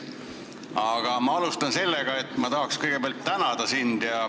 Aga ma alustan sellest, et ma tahan kõigepealt sind tänada.